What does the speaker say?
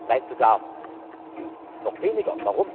Nein, sogar auf noch weniger.